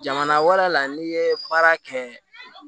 Jamana wɛrɛ la n'i ye baara kɛ